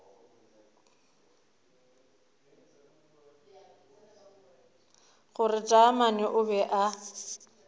gore taamane o be a